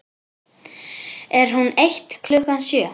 Er hún eitt klukkan sjö?